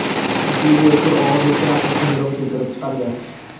Chunki u o‘tkir og‘ir respirator sindrom keltirib chiqargan.